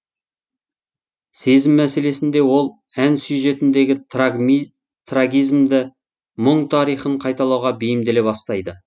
сезім мәселесінде ол ән сюжетіндегі трагизмді мұң тарихын қайталауға бейімделе бастайды